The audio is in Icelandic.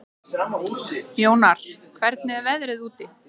Jónar, hvernig er veðrið úti?